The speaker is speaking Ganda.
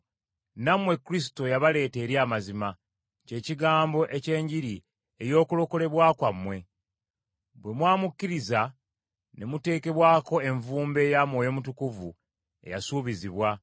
Nammwe, Kristo yabaleeta eri amazima, kye kigambo eky’Enjiri ey’okulokolebwa kwammwe. Bwe mwamukkiriza, ne muteekebwako envumbo eya Mwoyo Mutukuvu eyasuubizibwa,